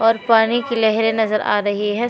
और पानी कि लहरें नजर आ रही हैं।